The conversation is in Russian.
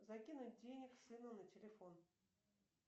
закинуть денег сыну на телефон